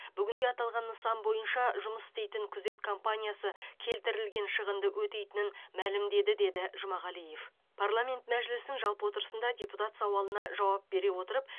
бүгінде аталған нысан бойынша жұмыс істейтін күзет компаниясы келтірілген шығынды өтейтінін мәлімдеді деді жұмағалиев парламент мәжілісінің жалпы отырысында депутат сауалына жауап бере отырып